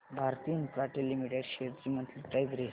Bharti infratel limited shares ची monthly price range